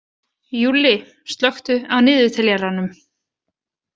Júlli, slökktu á niðurteljaranum.